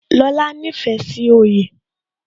Lóla nífẹ̀ẹ́ sí oyè